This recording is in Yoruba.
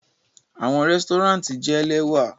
Awọn resturant jẹ lẹwa